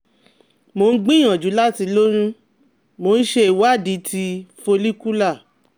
Mo ń gbìyànjú láti lóyún, mo ṣe ìwádìí ti follicular